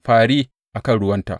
Fări a kan ruwanta!